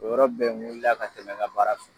O yɔrɔ bɛɛ, n wulila ka tɛmɛ n ka baara fɛ.